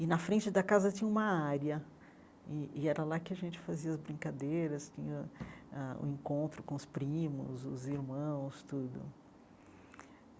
E na frente da casa tinha uma área, e e era lá que a gente fazia as brincadeiras, tinha ãh o encontro com os primos, os irmãos, tudo.